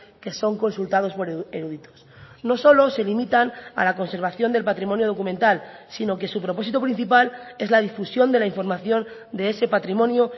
que son consultados por eruditos no solo se limitan a la conservación del patrimonio documental sino que su propósito principal es la difusión de la información de ese patrimonio